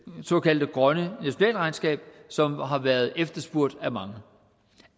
såkaldte grønne nationalregnskab som har været efterspurgt af mange